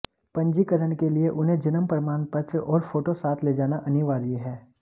पंजीकरण के लिए उन्हें जन्म प्रमाण पत्र और फोटो साथ ले जाना अनिवार्य है